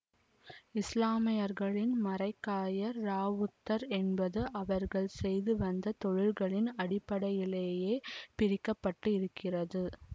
இசுலாமியர்களின் மரைக்காயர் இராவுத்தர் என்பது அவர்கள் செய்து வந்த தொழில்களின் அடிப்படையிலேயே பிரிக்கப்பட்டிருக்கிறது